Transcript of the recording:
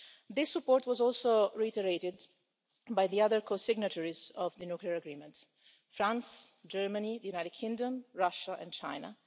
This support was also reiterated by the other co-signatories of the nuclear agreement France, Germany, the United Kingdom, Russia and China.